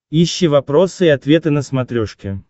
ищи вопросы и ответы на смотрешке